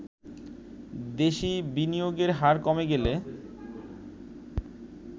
দেশি বিনিয়োগের হার কমে গেলে